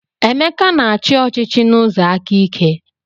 Emeka na-achị ọchịchị n'ụzọ aka ike.